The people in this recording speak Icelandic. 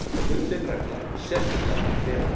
Gullin regla, sérstaklega fyrir refinn.